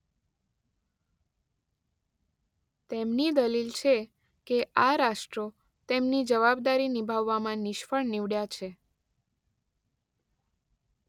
તેમની દલીલ છે કે આ રાષ્ટ્રો તેમની જવાબદારી નિભાવવામાં નિષ્ફળ નિવડ્યાં છે.